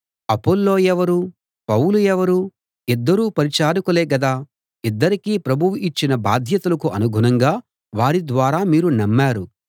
అపొల్లో ఎవరు పౌలు ఎవరు ఇద్దరూ పరిచారకులే గదా ఇద్దరికీ ప్రభువు ఇచ్చిన బాధ్యతలకు అనుగుణంగా వారి ద్వారా మీరు నమ్మారు